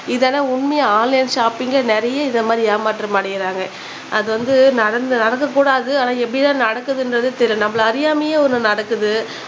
இதெல்லாம் உண்மையா ஆன்லைன் ஷாப்பிங்க்ல நிறைய இத மாதிரி ஏமாற்றம் அடையுறாங்க அது வந்து நடந்து நடக்க கூடாது ஆனா எப்பிடி தான் நடக்குத்னுன்றது தெரியல நம்மள அறியாமயே ஒண்ணு நடக்குது